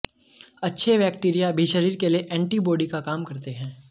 अच्छे बैक्टीरिया भी शरीर के लिए एंटीबॉडी का काम करते हैं